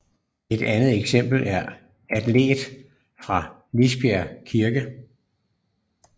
Et andet eksempel er alteret fra Lisbjerg Kirke